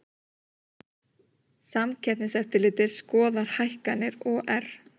Samkeppniseftirlitið skoðar hækkanir OR